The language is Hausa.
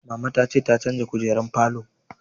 Mama ta ce ta canza kujerun falon